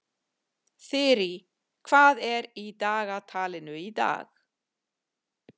Þyrí, hvað er í dagatalinu í dag?